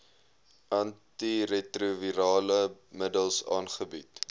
antiretrovirale middels aangebied